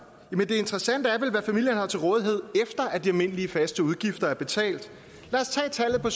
men det interessante er vel hvad familierne har til rådighed efter at de almindelige faste udgifter er betalt lad os tage tallet på